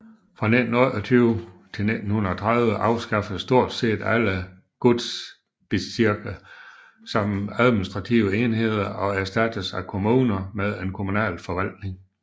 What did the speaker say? Fra 1928 til 1930 afskaffedes stort set alle Gutsbezirke som administrative enheder og erstattedes af kommuner med en kommunal forvaltning